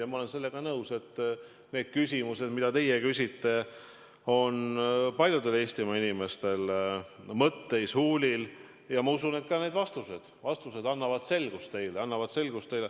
Ja ma olen nõus, et need küsimused, mida te küsite, on paljudel Eestimaa inimestel mõtteis, huulil, ja ma usun, et ka need vastused annavad teile selgust.